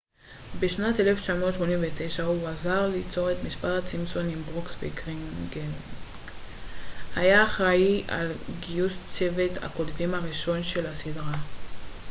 בשנת 1989 הוא עזר ליצור את משפחת סימפסון עם ברוקס וגרינינג והיה אחראי על גיוס צוות הכותבים הראשון של הסדרה